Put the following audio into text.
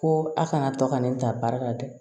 Ko a kana to ka ne ta baara la dɛ